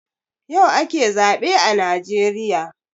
Yau ake zaɓe a najeriya